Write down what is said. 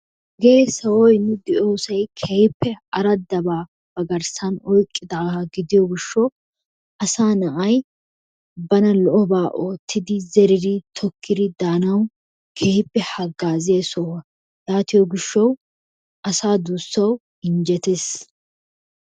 Hagee nu de'iyiyo sohoy kehippe aradda ba ba garissan oyiqidaggaa gidiyogishawu asaa na'ay bana lo'obaa ottidi, tokidi, zeridi danawu kehippe hagaziyaa sohuwa yatiyoo gishawu injjettes.